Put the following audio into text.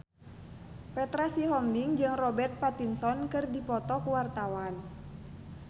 Petra Sihombing jeung Robert Pattinson keur dipoto ku wartawan